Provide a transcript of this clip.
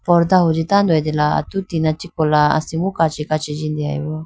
pordah hunji tando atela atu tina chi kola asimbo kachi kachi jindeya boo.